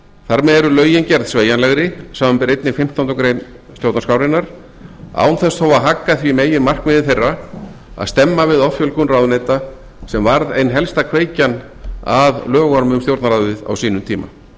þar með eru lögin gerð sveigjanlegri samanber einnig fimmtándu grein stjórnarskrárinnar án þess þó að hagga því meginmarkmiði þeirra að stemma við offjölgun ráðuneyta sem varð ein helsta kveikjan að lögunum um stjórnarráðið á sínum tíma þá er